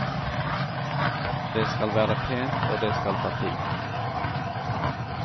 Det skal være pent, og det skal ta tid.